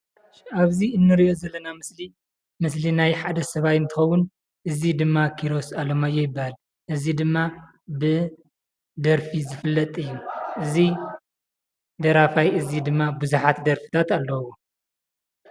ኣብዚ እንሪኦ ዘለና ምስሊ ምስሊ ናይ ሓደ ሰብኣይ እንትኸውን እዚ ድማ ኪሮስ ኣለማዮህ ይበሃል፡፡ እዚ ድማ ብደርፊ ዝፍለጥ እዩ፡፡ እዚ ደራፋይ እዚ ድማ ብዙሓት ደርፍታት ኣለዉዎ፡፡